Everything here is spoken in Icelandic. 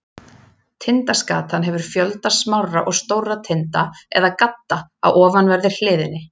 Tindaskatan hefur fjölda smárra og stórra tinda eða gadda á ofanverðri hliðinni.